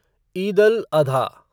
ईद अल आधा